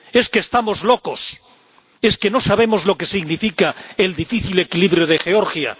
¿Es que estamos locos? ¿Es que no sabemos lo que significa el difícil equilibrio de Georgia?